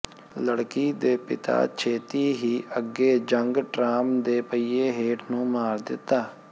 ਲੜਕੀ ਦੇ ਪਿਤਾ ਛੇਤੀ ਹੀ ਅੱਗੇ ਜੰਗ ਟਰਾਮ ਦੇ ਪਹੀਏ ਹੇਠ ਨੂੰ ਮਾਰ ਦਿੱਤਾ